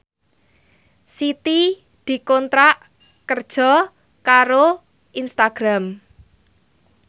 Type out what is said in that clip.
Siti dikontrak kerja karo Instagram